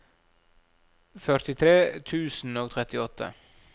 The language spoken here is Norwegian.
førtitre tusen og trettiåtte